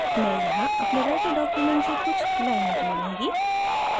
मैं यहाँ अपने writer document से कुछ लाइनें जोडूँगी